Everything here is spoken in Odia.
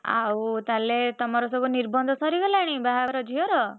ଆଉ ତାହେଲେ ତମର ସବୁ ନିର୍ବନ୍ଧ ସରିଗଲାଣି ବାହାଘର ଝିଅର?